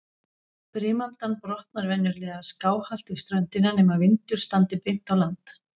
Brimaldan brotnar venjulega skáhallt við ströndina, nema vindur standi beint á land.